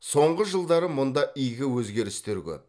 соңғы жылдары мұнда игі өзгерістер көп